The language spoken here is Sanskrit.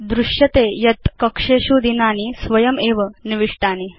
भवान् पश्यति यत् कक्षेषु दिनानि स्वयङ्कारितया निविष्टानि